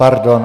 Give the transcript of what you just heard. Pardon.